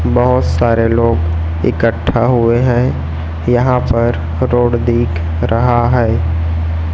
बहोत सारे लोग इकट्ठा हुए हैं यहां पर रोड दिख रहा है।